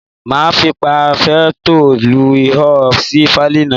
Máa fi paforétọ̀ lu ihò sí fáìlì náà.